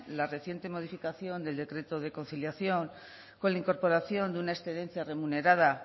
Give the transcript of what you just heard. la reciente modificación del decreto de conciliación con la incorporación de una excedencia remunerada